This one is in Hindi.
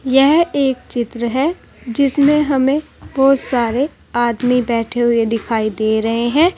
यह एक चित्र है जिसमें हमें बहुत सारे आदमी बैठे हुए दिखाई दे रहे हैं।